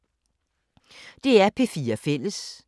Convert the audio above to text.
DR P4 Fælles